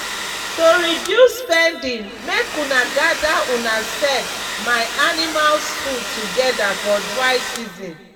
to reduce spending make una gather una sef my animals food together for dry season